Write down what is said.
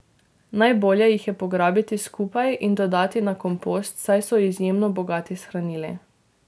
Najbolje jih je pograbiti skupaj in dodati na kompost, saj so izjemno bogati s hranili.